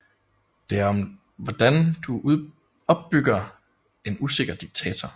Det er om hvordan du opbygger en usikker diktator